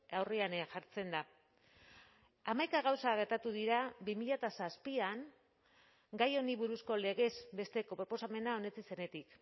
aurrean jartzen da hamaika gauza gertatu dira bi mila zazpian gai honi buruzko legez besteko proposamena onetsi zenetik